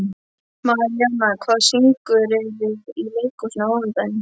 Maríana, hvaða sýningar eru í leikhúsinu á mánudaginn?